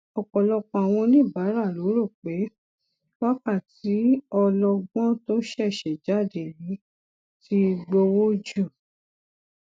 ọpọlọpọ àwọn oníbàárà ló rò pé wákàtí ọlọgbọn tó ṣẹṣẹ jáde yìí ti gbowó jù